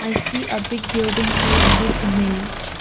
see a big building here in this image.